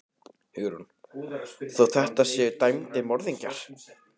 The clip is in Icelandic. Hugrún: Þó þetta séu dæmdir morðingjar?